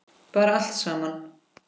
Bara allt saman.